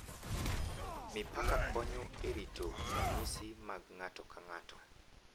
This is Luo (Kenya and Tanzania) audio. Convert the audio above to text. Mipaka konyo e rito ranyisi mag ng’ato ka ng’ato,